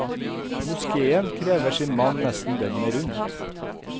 Moskéen krever sin mann nesten døgnet rundt.